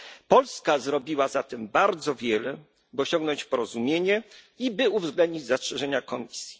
Polska zrobiła zatem bardzo wiele, by osiągnąć porozumienie i by uwzględnić zastrzeżenia Komisji.